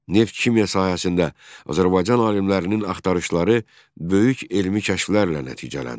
Neft-kimya sahəsində Azərbaycan alimlərinin axtarışları böyük elmi kəşflərlə nəticələndi.